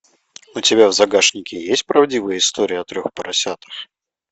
у тебя в загашнике есть правдивая история о трех поросятах